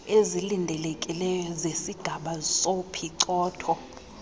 ezilindelekileyo zesigaba sophicotho